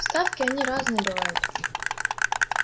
вставки они разные бывают